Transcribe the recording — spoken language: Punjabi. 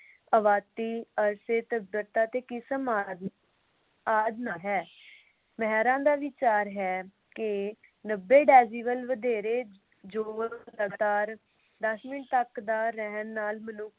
ਆਬਾਦੀ, ਅਸੱਭਿਅਤਾ ਅਤੇ ਆਦਿ ਨਾਲ ਹੈ। ਮਹਿਰਾਂ ਦਾ ਵਿਚਾਰ ਹੈ ਕਿ ਨੱਬੇ decibel ਵਧੇਰੇ ਸ਼ੋਰ ਲਗਾਤਾਰ ਦਸ ਮਿੰਟ ਤੱਕ ਦਾ ਰਹਿਣ ਨਾਲ ਮਨੁੱਖ ਦੀ